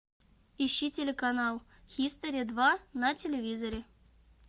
ищи телеканал хистори два на телевизоре